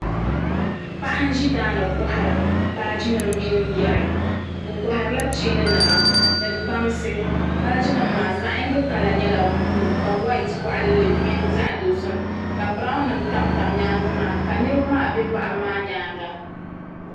Paɣa n-ʒi daa ni kɔhiri baajinima mini yari o kɔhirila cheeninima ni bansi baajinima maa zaɣ'yiŋgi kala nyɛla buluu ka whayiti kɔɣili li di mini zaɣ'dozim ka biranwunima tamtam nyaaŋa maa ka niriba maa be paɣiba maa nyaaŋa.